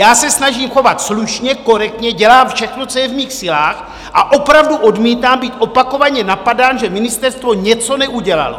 Já se snažím chovat slušně, korektně, dělám všechno, co je v mých silách, a opravdu odmítám být opakovaně napadán, že ministerstvo něco neudělalo.